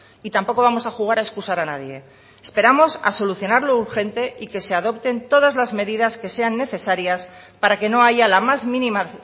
y tampoco vamos a jugar a excusar a nadie esperamos a solucionar lo urgente y que se adopten todas las medidas que sean necesarias para que no haya la más mínima